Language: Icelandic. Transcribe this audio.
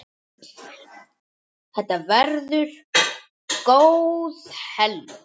Þetta verður góð helgi.